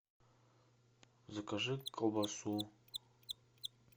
закажи колбасу